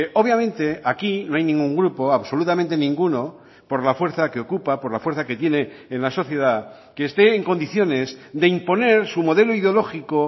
obviamente aquí no hay ningún grupo absolutamente ninguno por la fuerza que ocupa por la fuerza que tiene en la sociedad que esté en condiciones de imponer su modelo ideológico